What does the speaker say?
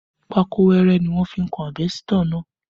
Pákó wẹrẹ ni wọ́n fi kan àbẹ́sítọ̀ náà